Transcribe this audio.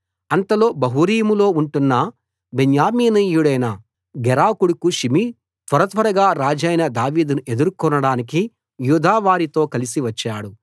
అంతలో బహూరీములో ఉంటున్న బెన్యామీనీయుడైన గెరా కొడుకు షిమీ త్వరత్వరగా రాజైన దావీదును ఎదుర్కొనడానికి యూదావారితో కలసి వచ్చాడు